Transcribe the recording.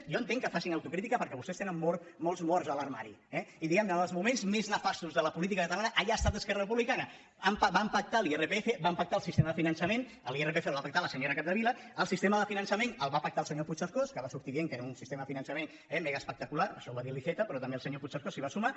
jo entenc que facin autocrítica perquè vostès tenen molts morts a l’armari eh i diguem·ne que en els moments més nefastos de la política cata·lana allà ha estat esquerra republicana van pactar l’irpf van pactar el sistema de finançament l’irpf el va pactar la senyora capdevila el sistema de finan·çament el va pactar el senyor puigcercós que va sortir dient que era un sistema de finançament eh mega·espectacular això ho va dir l’iceta però també el se·nyor puigcercós s’hi va sumar